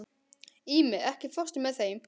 Ími, ekki fórstu með þeim?